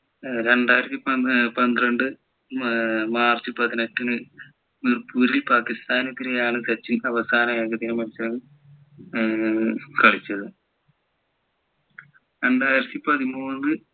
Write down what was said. ഏർ രണ്ടായിരത്തിപന്ത്രണ്ട് ഏർ മാർച്ച് പതിനെട്ടിന് മിർപുരിൽ പാകിസ്താനെതിരെ ആണ് സച്ചിൻ അവസാന ഏകദിന മത്സരം ഏർ കളിച്ചത് രണ്ടായിരത്തി പതിമൂന്ന്